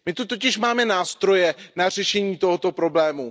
My zde totiž máme nástroje na řešení tohoto problému.